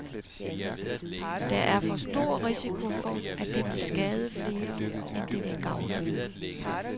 Der er for stor risiko for, at det vil skade flere end det vil gavne.